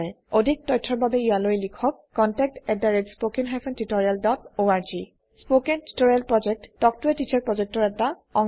অধিক তথ্যৰ বাবে ইয়ালৈ লিখক contactspoken tutorialorg spoken tutorial project এটা শিক্ষকৰ লগত কথা পতা প্ৰযেক্ত